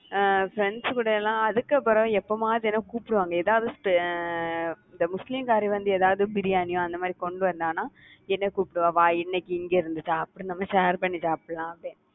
அஹ் friends கூட எல்லாம் அதுக்கப்புறம் எப்பம்மாவது என்ன கூப்பிடுவாங்க ஏதாவது, இந்த முஸ்லிம்காரி வந்து ஏதாவது biryani யோ அந்த மாறி கொண்டு வந்தான்னா என்னை கூப்பிடுவா வா இன்னைக்கு இங்க இருந்து சாப்பிடு, நம்ம share பண்ணி சாப்பிடலாம் அப்படினு